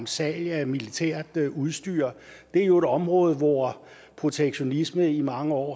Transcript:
salg af militært udstyr det er jo et område hvor protektionisme i mange år